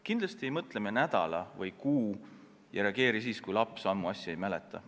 Kindlasti ei mõtle me nädal või kuu ega reageeri siis, kui laps asja ammu ei mäleta.